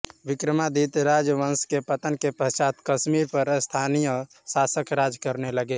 विक्रमादित्य राजवंश के पतन के पश्चात कश्मीर पर स्थानीय शासक राज करने लगे